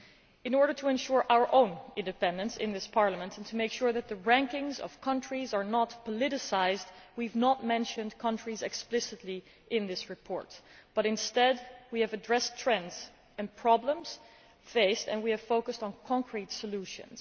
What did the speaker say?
In order to ensure our own independence in this Parliament and to make sure that the rankings of countries are not politicised, we have not mentioned countries explicitly in this report but instead we have addressed trends and problems faced and we have focused on concrete solutions.